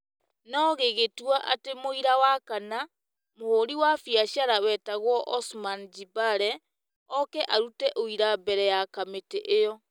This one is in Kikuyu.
no gĩgĩtua atĩ mũira wa kana - mũhũri wa biacara wetagwo Osman Jibale - ooke arute ũira mbere ya kamĩtĩ ĩyo